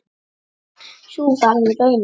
Sú varð raunin.